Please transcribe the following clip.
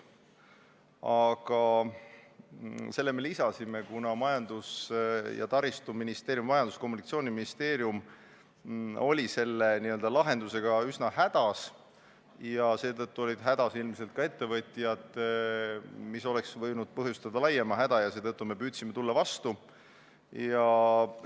Aga me lisasime selle, kuna Majandus- ja Kommunikatsiooniministeerium oli selle lahendusega üsna hädas ja seetõttu olid hädas ilmselt ka ettevõtjad, mis oleks võinud põhjustada veelgi laiema häda ja seepärast me püüdsime ministeeriumile vastu tulla.